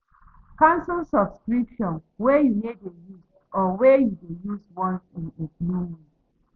Cancel subscription wey you no dey use or wey you dey use once in a blue moon